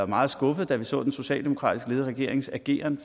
meget skuffede da vi så den socialdemokratisk ledede regerings ageren